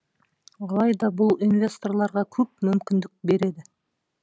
алайда бұл инвесторларға көп мүмкіндік береді